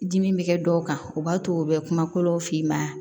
Dimi bɛ kɛ dɔw kan o b'a to u bɛ kuma kolow f'i ma